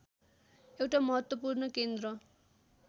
एउटा महत्त्वपूर्ण केन्द्र